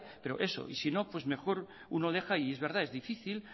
pero eso y si no pues mejor uno deja y es verdad es difícil